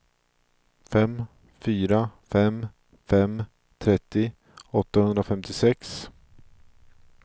fem fyra fem fem trettio åttahundrafemtiosex